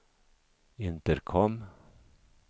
intercom